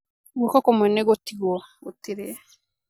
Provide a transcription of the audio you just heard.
Guoko kũmwe nĩ gũtigwo, gũtirĩ.